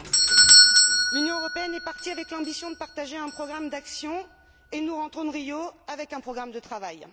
2015. L'Union européenne est partie avec l'ambition de partager un programme d'action et nous rentrons de Rio avec un programme de travail.